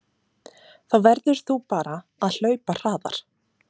Þá verður þú bara að hlaupa hraðar